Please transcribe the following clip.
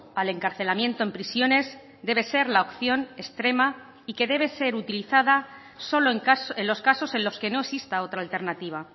al encarcelamiento en prisiones debe ser la opción extrema y que debe ser utilizada solo en los casos en los que no exista otra alternativa